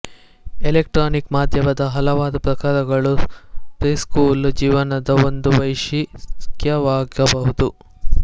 electronic ಮಾಧ್ಯಮದ ಹಲವಾರು ಪ್ರಕಾರಗಳು ಪ್ರಿಸ್ಕೂಲ್ ಜೀವನದ ಒಂದು ವೈಶಿಷ್ಟ್ಯವಾಗಬಹುದು